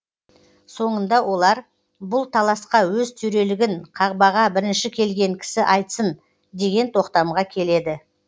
соңында олар бұл таласқа өз төрелігін қағбаға бірінші келген кісі айтсын деген тоқтамға келеді